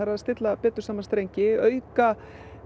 að stilla betur saman strengi auka